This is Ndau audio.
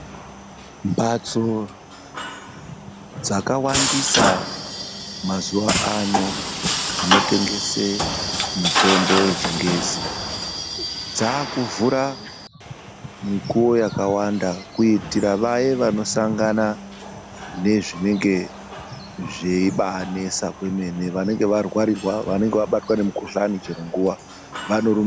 Mbatso dzakawandisa mazuwaano dzinotengese mitombo yechingezi, dzakuvhura mikuwo yakawanda kuyitire vaya vanosangana nezvinenge zveyibanesa kwemene, vanenge varwarirwa vanenge vabatwa nemukuhlani chero nguwa vanorumba